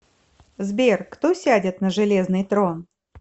сбер кто сядет на железный трон